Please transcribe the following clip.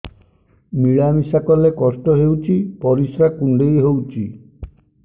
ମିଳା ମିଶା କଲେ କଷ୍ଟ ହେଉଚି ପରିସ୍ରା କୁଣ୍ଡେଇ ହଉଚି